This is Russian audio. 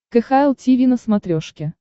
кхл тиви на смотрешке